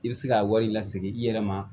I bɛ se k'a wari lasegin i yɛrɛ ma